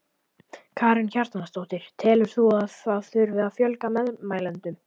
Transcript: Karen Kjartansdóttir: Telur þú að það þurfi að fjölga meðmælendum?